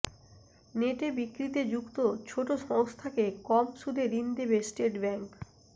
নেটে বিক্রিতে যুক্ত ছোট সংস্থাকে কম সুদে ঋণ দেবে স্টেট ব্যাঙ্ক